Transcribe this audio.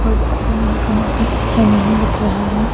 और अभी यहां का मौसम अच्छा नहीं दिख रहा है।